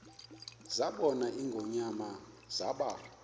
zabona ingonyama zaba